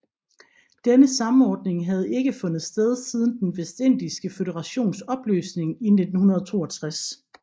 Denne samordning havde ikke fundet sted siden Den vestindiske føderations opløsning i 1962